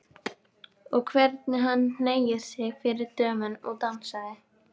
Og hvernig hann hneigði sig fyrir dömunum og dansaði!